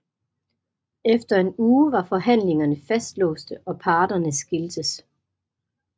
Efter en uge var forhandlingerne fastlåste og parterne skiltes